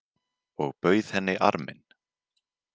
Og bauð henni arminn.